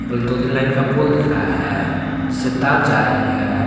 और दो तीन लाइन का पोल दिख रहा है जिससे तार जा रहीं है।